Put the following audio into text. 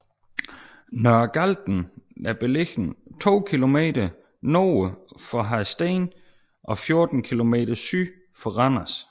Nørre Galten er beliggende to kilometer nord for Hadsten og 14 kilometer syd for Randers